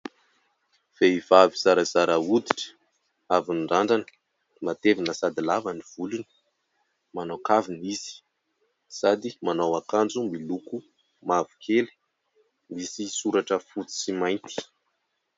Vehivavy zarazara hoditra avy nirandrana, matevina sady lava ny volony. Manao kavina izy sady manao ankajo miloko mavokely misy soratra fotsy sy mainty.